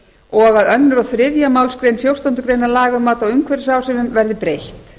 og að öðru og þriðju málsgrein fjórtándu félaga um mat á umhverfisáhrifum verði breytt